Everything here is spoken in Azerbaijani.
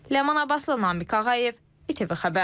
Ləman Abbasova, Namiq Ağayev, ATV Xəbər.